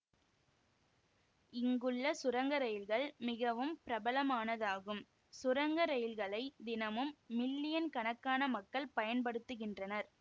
இங்குள்ள சுரங்க இரயில்கள் மிகவும் பிரபலமானதாகும் சுரங்க ரயில்களை தினமும் மில்லியன் கணக்கான மக்கள் பயன் படுத்துகின்றனர்